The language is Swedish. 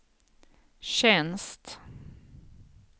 tjänst